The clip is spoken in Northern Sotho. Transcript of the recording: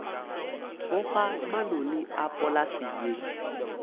boga manoni a polase ye